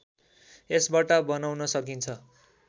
यसबाट बनाउन सकिन्छ